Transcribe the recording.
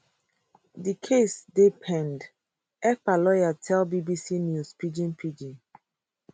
di case still dey pend ekpa lawyer tell bbc news pidgin pidgin